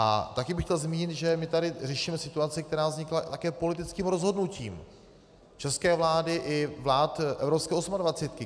A taky bych chtěl zmínit, že my tady řešíme situaci, která vznikla také politickým rozhodnutím české vlády i vlád evropské osmadvacítky.